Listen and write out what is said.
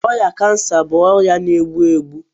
Ọrịa cancer bụ ọrịa na-egbu egbu